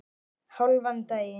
Hálfan daginn.